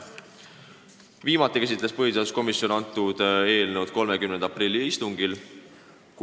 Viimati käsitles põhiseaduskomisjon seda eelnõu 30. aprilli istungil.